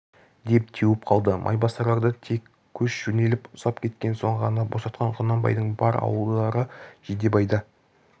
деп теуіп қалды майбасарларды тек көш жөнеліп ұзап кеткен соң ғана босатқан құнанбайдың бар ауылдары жидебайда